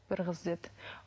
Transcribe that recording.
бір қыз деді